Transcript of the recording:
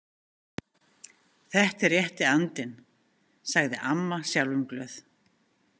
Þetta er rétti andinn, sagði amma sjálfumglöð.